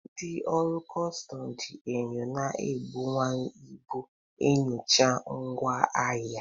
Ndị ọrụ kọstọm ji enyo na-ebuwanye ibu enyocha ngwa ahịa.